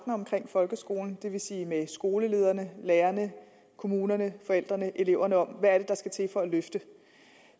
omkring folkeskolen det vil sige med skolelederne lærerne kommunerne forældrene eleverne om er der skal til for at løfte